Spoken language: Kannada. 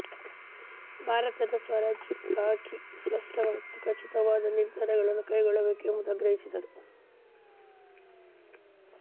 ಭಾರತದ ಸ್ವರಾಜ್ಯಕ್ಕಾಗಿ ಸ್ಪಷ್ಟ ಮತ್ತು ಖಚಿತವಾದ ನಿರ್ಧಾರಗಳನ್ನು ಕೈಗೊಳ್ಳಬೇಕೆಂದು ಆಗ್ರಹಿಸಿದರು